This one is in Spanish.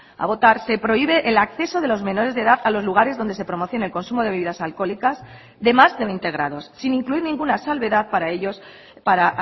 a votar se prohíbe el acceso de los menores de edad a los lugares donde se promocione el consumo de bebidas alcohólicas de más de veinte grados sin incluir ninguna salvedad para ellos para